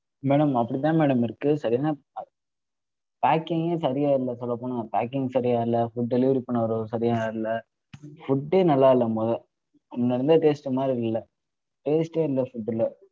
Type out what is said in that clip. Madam அப்படி தான் madam இருக்கு. packing ஏ சரியா இல்ல சொல்லப்போனா. packing சரியா இல்ல food delivery பண்ணவருபவரு சரியா இல்ல food ஏ நல்லா இல்ல மொத. முன்ன இருந்த taste மாதிரி இல்லை taste ஏ இல்ல food ல